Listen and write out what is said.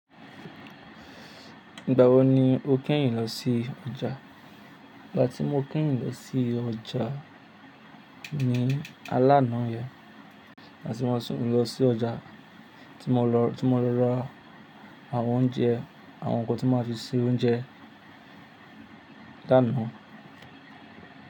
Ìgbà wo ni o kẹ́yìn lọ sí ọjà? Ìgbà tí mọ kẹ́yìn lọ sí ọjà ni alanà yẹn. Là tí mo sún lọ sí ọjà, tí mo lọ, tí mo lọ ra àwọn oúnjẹ, àwọn nǹkan tí màá fi ṣe oúnjẹ lánàá.